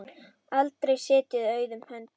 Aldrei setið auðum höndum.